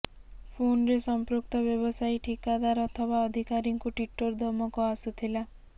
ଫୋନ୍ରେ ସଂପୃକ୍ତ ବ୍ୟବସାୟୀ ଠିକାଦାର ଅଥବା ଅଧିକାରୀଙ୍କୁ ଟିଟୋର ଧମକ ଆସୁଥିଲା